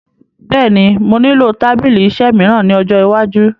Bẹ́è ni, mo nílò tábìlì-iṣẹ́ mìíràn ní ọjọ́ iwájú.